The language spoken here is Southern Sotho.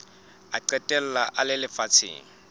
a qetella a le lefatsheng